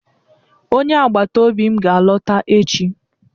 Onye agbata obi m ga-alọta echi.